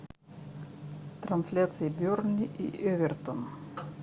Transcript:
трансляция бернли и эвертон